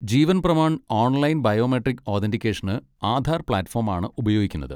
ജീവൻ Pramaan online biometric ഓതെന്റിക്കേഷന് Aadhaar platform ആണ് ഉപയോഗിക്കുന്നത്.